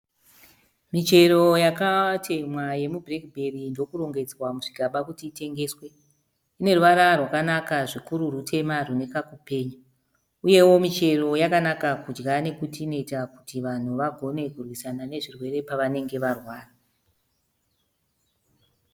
Michero yakatemhwa yemubhureki bheri ndokurongedzwa muzvigaba kuti itengeswe. ine ruvara rwakanaka zvikuru rutema rune kakupenya uyewo michero yakanaka kudya nekuti inoita kuti vanhu vagone kurwisana nezvirwere pavanenge varwara